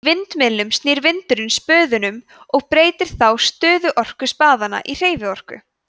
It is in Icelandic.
í vindmyllum snýr vindurinn spöðum og breytir þá stöðuorku spaðanna í hreyfiorku